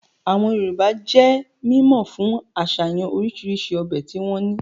Àwọn Yorùbá jẹ́ mímọ̀ fún àsàyàn orisirisi ọbẹ̀ tí wọ́n ní